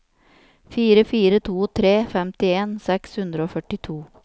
fire fire to tre femtien seks hundre og førtito